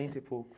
e poucos.